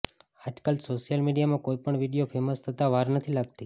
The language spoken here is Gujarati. આજકાલ સોશિયલ મીડિયામાં કોઈ પણ વીડિયો ફેમસ થતા વાર નથી લાગતી